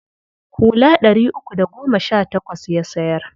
Hula ɗari uku da goma sha takwas ya sayar.